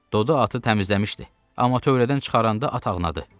Dodu atı təmizləmişdi, amma tövlədən çıxaranda at ağnadı.